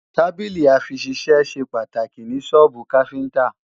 Tábìlì-àfiṣisẹ́ ṣe pàtàkì ní sọ́ọ́bù káfíntá